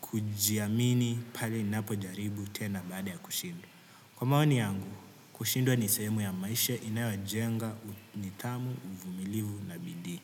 kujiamini pale ninapo jaribu tena baada ya kushindwa. Kwa maoni yangu, kushindwa ni sehemu ya maisha inayo jenga, nidhamu, uvumilivu na bidii.